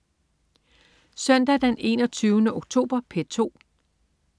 Søndag den 21. oktober - P2: